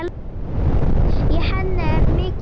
Í henni er mikill mör.